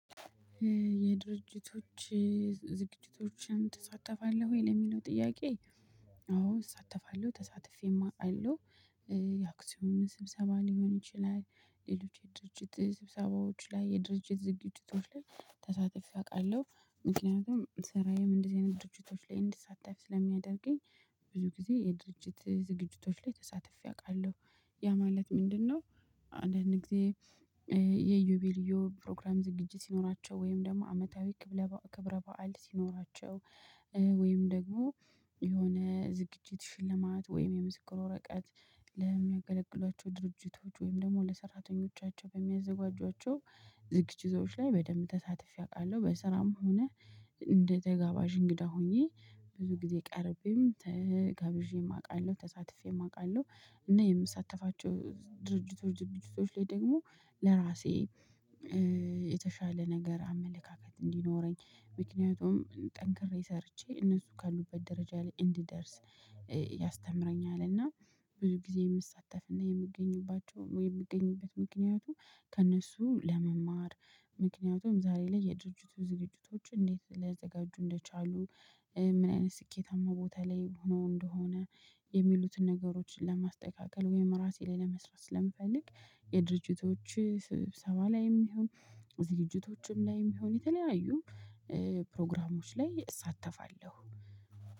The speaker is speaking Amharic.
የድርጅቶች ዝግጅቶችን ትሳተፋለህ ወይ ለሚለው ጥያቄ አዎ እሳተፋለሁ ተሳትፌማ አውቃለው። የአክሲዮን ስብሰባ ሊሆን ይችላል ሌሎች የድርጅት ስብሰባዎች ላይ የድርጅት ዝግጅቶች ላይ ተሳተፌ አውቃለሁ ምክንያቱም ስራዬም እንደዚህ አይነት ድርጅቶች ላይ እንድሳተፍ ስለሚያደርገኝ። ብዙ ጊዜ የድርጅት ዝግጅቶች ላይ ተሳትፌ አውቃለሁ። ያ ማለት ምንድነው? አንዳንድ ጊዜ የዩቤልዮ ፕሮግራም ዝግጅት ሲኖራቸው ወይም ደግሞ አመታዊ ክብረ በዓል ሲኖራቸው። ወይም ደግሞ የሆነ ዝግጅት ሽልማት ወይም የምስክር ወረቀት ለሚያገለግሏቸው ድርጅቶች ወይም ደግሞ ለሰራተኞቻቸው በሚያዘጋጇቸው ዝግጅቶች ላይ በደንብ ተሳትፌ አውቃለሁ። በስራም ሆነ እንደ ተጋባዥ እንግዳ ሆኜ ብዙ ጊዜ ቀርቤም ተጋብዤም አውቃለሁ ተሳትፌም አውቃለሁ። እና የምሳተፋቸው ድርጅቶች ድርጅቶች ላይ ደግሞ ለራሴ የተሻለ ነገር አመለካከት እንዲኖረኝ ምክንያቱም ጠንክሬ ሰርቼ እነሱ ካሉበት ደረጃ ላይ እንድደርስ ያስተምረኛልና። ብዙ ጊዜ የምሳተፍና የምገኝባቸው የምገኝበት ምክንያቱ ከእነሱ ለመማር። ምክንያቱም ዛሬ ላይ የድርጅቱ ዝግጅቶች እንዴት ሊያዘጋጁ እንደቻሉ ምን አይነት ስኬታማ ቦታ ላይ ሆኖ እንደሆነ የሚሉትን ነገሮችን ለማስተካከል ወይም ራሴ ላይ ለመስራት ስለምፈልግ። የድርጅቶች ስብሰባ ላይም ይሁን ዝግጅቶችም ላይም ይሁን የተለያዩ ፕሮግራሞች ላይ እሳተፋለሁ